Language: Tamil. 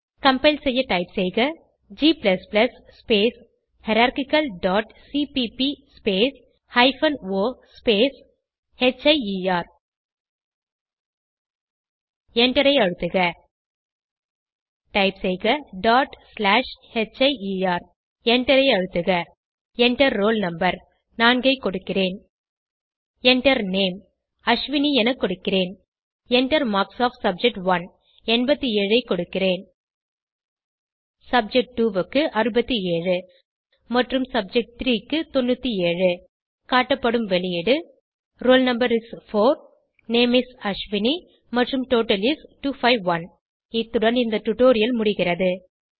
கம்பைல் செய்ய டைப் செய்க g space hierarchical dot CPP space hyphen o space hier எண்டரை அழுத்துக டைப் செய்க டாட் ஸ்லாஷ் ஹியர் எண்டரை அழுத்துக Enter ரோல் no 4 ஐ கொடுக்கிறேன் Enter Name அஸ்வினி என கொடுக்கிறேன் Enter மார்க்ஸ் ஒஃப் சப்ஜெக்ட்1 87 ஐ கொடுக்கிறேன் சப்ஜெக்ட்2 க்கு 67 மற்றும் சப்ஜெக்ட்3 க்கு 97 காட்டப்படும் வெளியீடு roll no is 4 name is Ashwini மற்றும் டோட்டல் is 251 இத்துடன் இந்த டுடோரியல் முடிகிறது